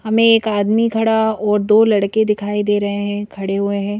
हम एक आदमी खड़ा और दो लड़के दिखाई दे रहे हैं खड़े हुए हैं।